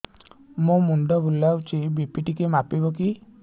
ମୋ ମୁଣ୍ଡ ବୁଲାଉଛି ବି.ପି ଟିକିଏ ମାପିବ କି